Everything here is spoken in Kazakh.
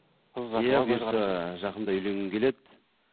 жақында үйленгім келеді